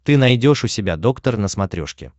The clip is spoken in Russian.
ты найдешь у себя доктор на смотрешке